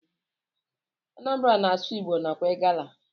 Anambra na asụ igbo nakwa igala.